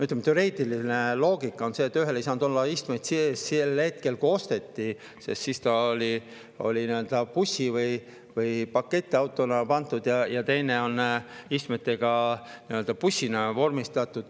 Ütleme, teoreetiline loogika on see, et ühel ei saanud olla istmeid sees sel hetkel, kui see osteti, ja siis see pandi pakettiauto'na, ja teine on istmetega nii-öelda bussina vormistatud.